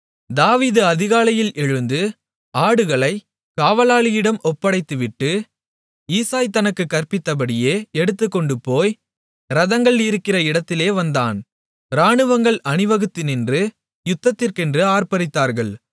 தாவீது அதிகாலையில் எழுந்து ஆடுகளைக் காவலாளியிடம் ஒப்படைத்துவிட்டு ஈசாய் தனக்குக் கற்பித்தபடியே எடுத்துக்கொண்டுபோய் இரதங்கள் இருக்கிற இடத்திலே வந்தான் இராணுவங்கள் அணிவகுத்து நின்று யுத்தத்திற்கென்று ஆர்ப்பரித்தார்கள்